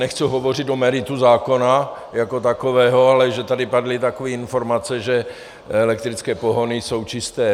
Nechci hovořit o meritu zákona jako takového, ale že tady padly takové informace, že elektrické pohony jsou čisté.